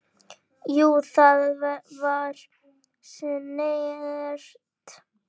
Jú, það var snert